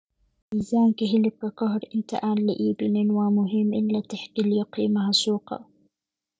Miisaanka hilibka ka hor inta aan la iibin waa muhiim in la tixgeliyo qiimaha suuqa.